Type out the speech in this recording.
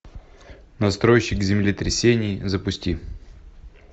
настройщик землетрясений запусти